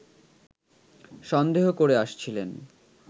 সন্দেহ করে আসছিলেন